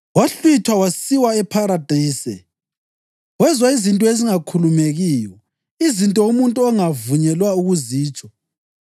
wahlwithwa wasiwa ePharadise. Wezwa izinto ezingakhulumekiyo, izinto umuntu angavunyelwa ukuzitsho.